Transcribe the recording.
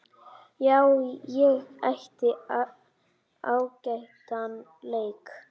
Já, ég átti ágætan leik.